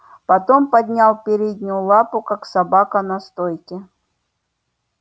потом поднял переднюю лапу как собака на стойке